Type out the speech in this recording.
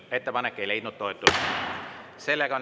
Ettepanek ei leidnud toetust.